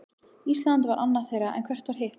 Ísland var annað þeirra, en hvert var hitt?